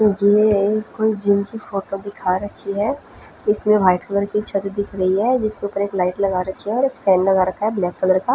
ये है कोई जिम की फोटो दिखा रही है इसमे वाइट कलर की छत दिख रही है जिसमे पूरी लाइट लगा रही है और एक फेन लगा रखा है ब्लैक कलर का --